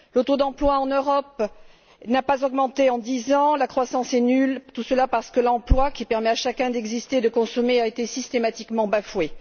Le taux d'emploi en Europe n'a pas augmenté en dix ans, la croissance est nulle, tout cela parce que l'emploi qui permet à chacun d'exister et de consommer a été systématiquement bafoué.